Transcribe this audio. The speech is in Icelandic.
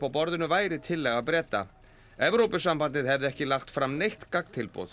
borðinu væri tillaga Breta Evrópusambandið hefði ekki lagt fram neitt gagntilboð